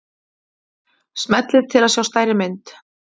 smellið til að sjá stærri mynd